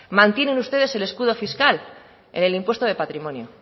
mantienen ustedes el escudo fiscal en el impuesto de patrimonio